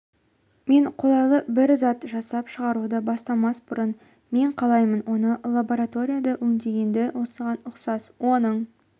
мен қолайлы бір зат жасап шығаруды бастамас бұрын мен қалаймын оны лабораторияда өңдегенді осыған ұқсас оның